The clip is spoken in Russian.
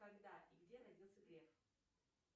когда и где родился греф